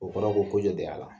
O kɔrɔ ko ko jɔ de y'a la